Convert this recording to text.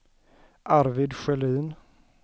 Arvid Sjölin